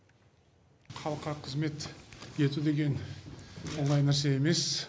халыққа қызмет ету деген оңай нәрсе емес